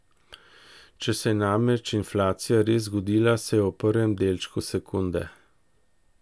Če se je namreč inflacija res zgodila, se je v prvem delčku sekunde.